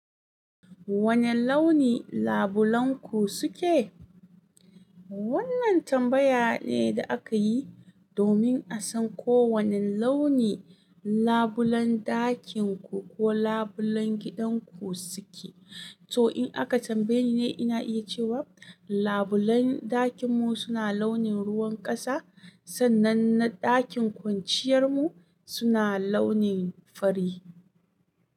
Wane launi labulen ku suke? Wannan tambaya ne da aka yi domin a san ko wane launi labulan ɗakin ku ko labulan gidan ku suke. To in aka tambaye ni, ina iya cewa labulan ɗakin mu suna launin ruwan ƙasa sannan na ɗakin kwanciyar mu suna launin fari.